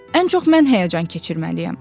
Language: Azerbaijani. Ən çox mən həyəcan keçirməliyəm.